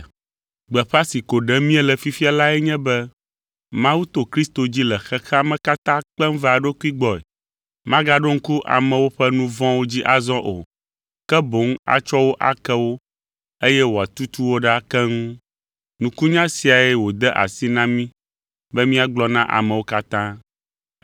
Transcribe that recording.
Gbeƒã si ko ɖem míele fifia lae nye be Mawu to Kristo dzi le xexea me katã kpem va eɖokui gbɔe. Magaɖo ŋku amewo ƒe nu vɔ̃wo dzi azɔ o, ke boŋ atsɔ wo ake wo eye wòatutu wo ɖa keŋ. Nukunya siae wòde asi na mí be míagblɔ na amewo katã.